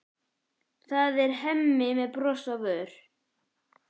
Það er Hemmi með bros á vör.